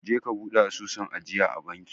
Je ka bude asusun ajiyaa a banki